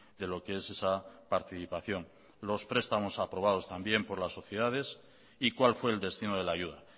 de lo que es esa participación los prestamos aprobados también por la sociedades y cuál fue el destino de la ayuda